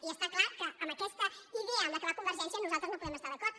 i està clar que amb aquesta idea amb què va convergència nosaltres no hi podem estar d’acord